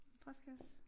Postkasse